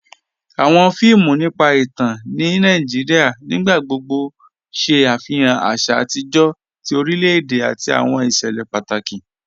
Awọn fíìmù nípa ìtàn ní Nàìjíríà nígbàgbọ̀gbọ̀ ṣé afihàn àṣà àtijọ tí orílẹ̀-èdè àti awọn iṣẹlẹ̀ pátákì.